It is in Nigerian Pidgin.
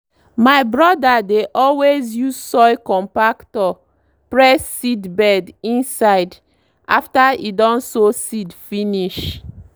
my brother dey always use soil compactor press seedbed inside after e don sow seed finish.